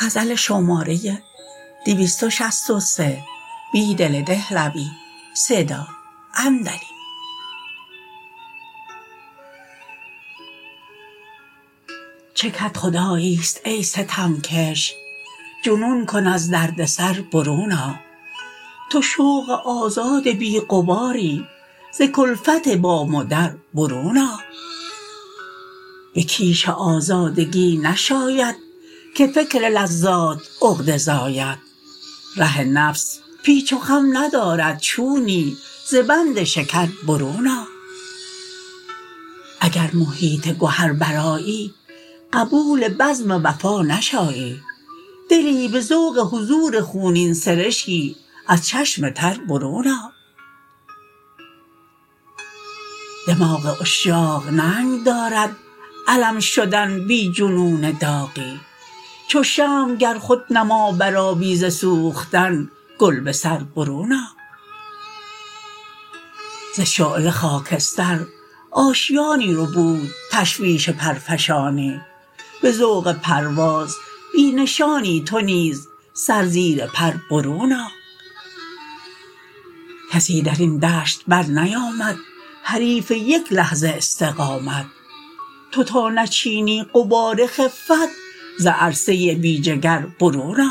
چه کدخدایی ست ای ستمکش جنون کن از دردسر برون آ تو شوق آزاد بی غباری زکلفت بام و در برون آ به کیش آزادگی نشایدکه فکر لذات عقده زاید ره نفس پیچ وخم ندارد چونی زبند شکربرون آ اگر محیط گهر برآیی قبول بزم وفا نشایی دلی به ذوق حضور خونین سرشکی از چشم تر برون آ دماغ عشاق ننگ دارد علم شدن بی جنون داغی چو شمع گر خودنما برآبی ز سوختن گل به سربرون آ ز شعله خاکستر آشیانی ربود تشویش پرفشانی به ذوق پرواز بی نشانی تو نیز سر زیر پر برون آ کسی درین دشت برنیامد حریف یک لحظه استقامت توتا نچینی غبار خفت ز عرصه بی جگر برون آ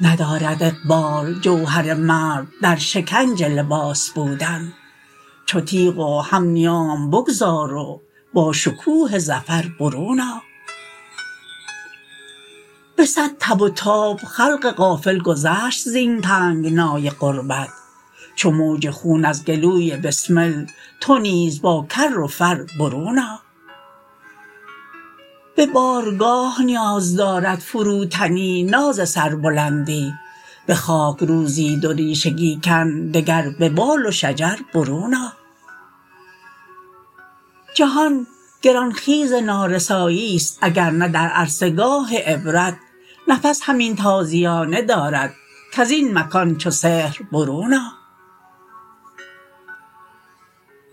ندارد اقبال جوهر مرد در شکنج لباس بودن چوتیغ و هم نیام بگذار و با شکوه ظفر برون آ به صد تب وتاب خلق غافل گذشت زین تنگنای غربت چو موج خون ازگلوی بسمل تو نیز باکر و فربرون آ به بارگاه نیاز دارد فروتنی ناز سربلندی به خاک روزی دوریشگی کن دگر ببال و شجربرون آ جهان گران خیز نارسایی ست اگرنه در عرصه گاه عبرت نفس همین تازیانه داردکزین مکان چون سحر برون آ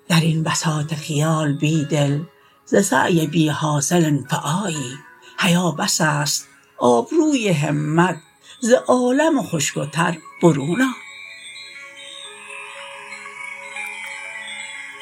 درین بساط خیال بیدل ز سعی بی حاصل انفعایی حیا بس است آبروی همت زعالم خشک تر برون آ